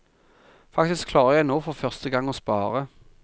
Faktisk klarer jeg nå for første gang å spare.